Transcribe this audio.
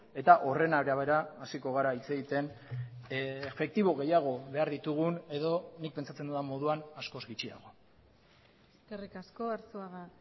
eta horren arabera hasiko gara hitz egiten efektibo gehiago behar ditugun edo nik pentsatzen dudan moduan askoz gutxiago eskerrik asko arzuaga